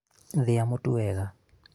thĩa mũtu wega